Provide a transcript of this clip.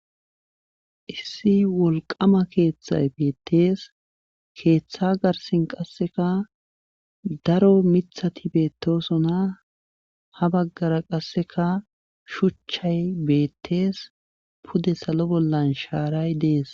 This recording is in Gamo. Issi wolqama keeththay beettees keeththa garsin qasseka daro mithati beettosona ha baggara qasseka shuchchay beettees pude salo bollan shaaray dees.